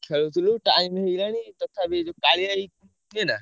ଖେଳୁଥିଲୁ time ହେଇଗଲାଣି ତଥାପି ଏଇ ଯୋଉ କାଳିଆ ଭାଇ, ନା।